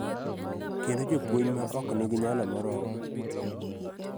Kendo jopuonj ma ok nigi nyalo moromo.